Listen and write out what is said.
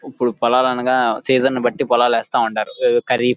ఇప్పుడు పొలాలనగా సీజన్ బట్టి పొలాలేస్తా ఉంటారు కరీఫ్ --